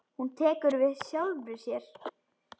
Hún tekur við sjálfri sér.